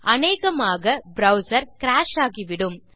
அனேகமாக browser crash ஆகிவிடும்